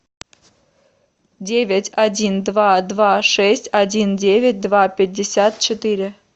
девять один два два шесть один девять два пятьдесят четыре